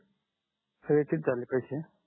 हे किती झाले पैसे